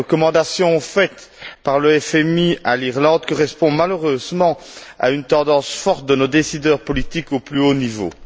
Les recommandations faites par le FMI à l'Irlande correspondent malheureusement à une tendance forte de nos décideurs politiques au plus haut niveau.